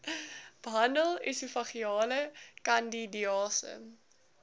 behandel esofageale kandidiase